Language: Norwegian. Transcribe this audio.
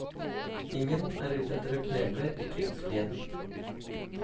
Ingen er ute etter å kneble ytringsfriheten.